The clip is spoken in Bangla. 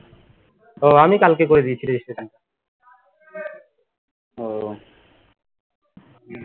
ও আমি কালকে করে দিয়েছি registration